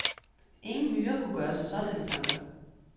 Ingen myre kunne gøre sig sådanne tanker.